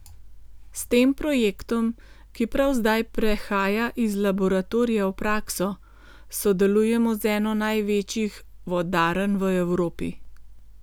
S tem projektom, ki prav zdaj prehaja iz laboratorija v prakso, sodelujemo z eno največjih vodarn v Evropi.